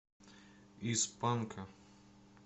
из панка